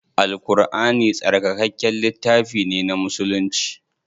Al Ƙurʼani tsarkakakken littafi ne na musulci.